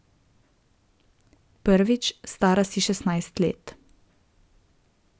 Prvič, stara si šestnajst let.